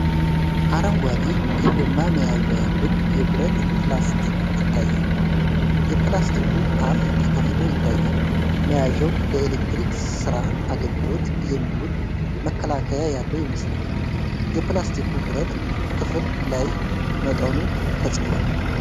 አረንጓዴ የጎማ መያዣ ያለው የብረት ፕላስ ይታያል። የፕላሱ አፍ ተከፍቶ ይታያል። መያዣው ለኤሌክትሪክ ሥራ አገልግሎት የሚውል መከላከያ ያለው ይመስላል። የፕላሱ ብረት ክፍል ላይ መጠኑ ተጽፏል።